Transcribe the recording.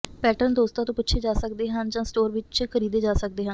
pattern ਦੋਸਤਾਂ ਤੋਂ ਪੁੱਛੇ ਜਾ ਸਕਦੇ ਹਨ ਜਾਂ ਸਟੋਰ ਵਿੱਚ ਖਰੀਦੇ ਜਾ ਸਕਦੇ ਹਨ